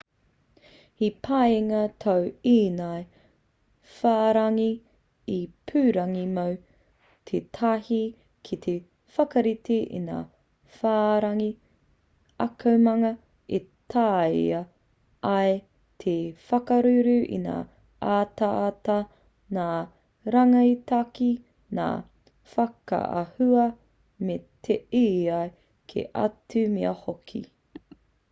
he pāinga tō ēnei whārangi ipurangi mō te taha ki te whakarite i ngā whārangi akomanga e tāea ai te whakauru i ngā ataata ngā rangitaki ngā whakaahua me ētahi kē atu mea hoki